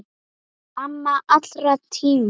Amma allra tíma.